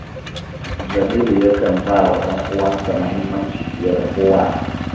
Jamilu yakan ba wa ‘yan uwansa muhimmanci fiye da kowa